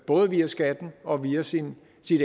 både via skatten og via sit